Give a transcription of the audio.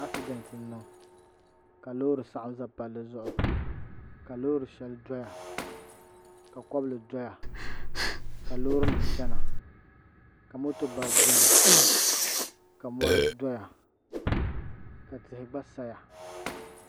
Asidɛnt n niŋ ka loori saɣam ʒɛ palli zuɣu ka loori shɛli doya ka kobli doya ka loori nim chɛna ka moto bari biɛni ka mɔri doya ka tihi gba saya